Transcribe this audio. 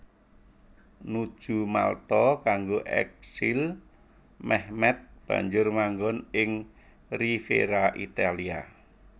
Nuju Malta kanggo eksil Mehmed banjur manggon ing Riviera Italia